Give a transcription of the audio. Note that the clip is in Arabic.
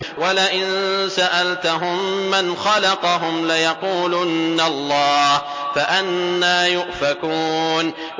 وَلَئِن سَأَلْتَهُم مَّنْ خَلَقَهُمْ لَيَقُولُنَّ اللَّهُ ۖ فَأَنَّىٰ يُؤْفَكُونَ